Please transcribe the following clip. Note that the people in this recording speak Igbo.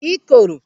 ikoro